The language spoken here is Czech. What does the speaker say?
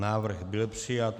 Návrh byl přijat.